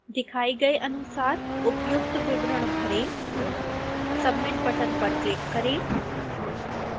दिखाई गए अनुसार उपयुक्त विवरण भरें submit बटन पर क्लिक करें